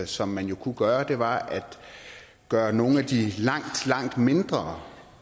som man jo kunne gøre var at gøre nogle af de langt langt mindre